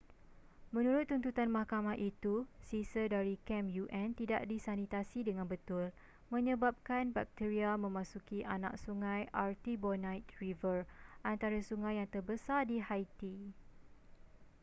menurut tuntutan mahkamah itu sisa dari kem un tidak disanitasi dengan betul menyebabkan bakteria memasuki anak sungai artibonite river antara sungai yang terbesar di haiti